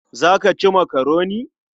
Za ka ci makaroni?